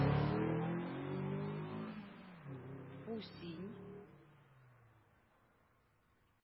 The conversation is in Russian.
фусинь